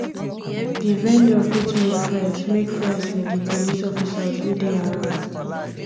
di vendor fit make friends make friends with di police officers wey dey around